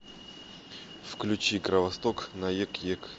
включи кровосток наек ек